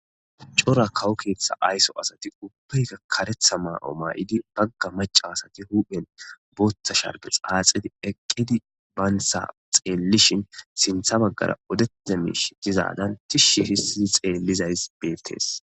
cora kawo keeththa aysso asati ubbeyka karetha ma7o maa7idi bagga maca asati huphen booththa sharge xaaxidi eqqidi baynsa xeellishin sintha baggara odete miish dizaadan tishshi hissii xeellizays beettees